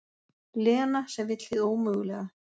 Lena sem vill hið ómögulega.